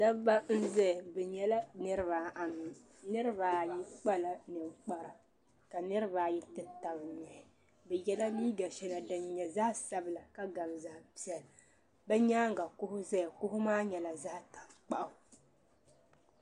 Dabba n zaya bɛ nyɛla niriba anu niriba ayi kpala ninkpara ka niriba ayi ti taba nuhu bɛ yɛla liiga shɛŋa din nyɛ zaɣi sabila ka gabi zaɣi piɛlla bɛ nyaaŋa kuɣu ʒeya kuɣu maa nyɛla zaɣi tankpaɣu.